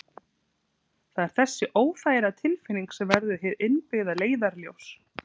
Það er þessi óþægilega tilfinning sem verður hið innbyggða leiðarljós.